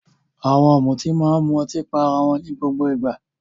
Àwọn ọ̀mùtí máa ń mu ọtí pá ará wọn ní gbogbo ìgbà.